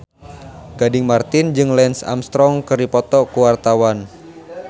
Gading Marten jeung Lance Armstrong keur dipoto ku wartawan